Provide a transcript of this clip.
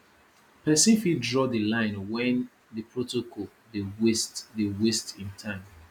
persin fit draw di line when the protocol de waste de waste im time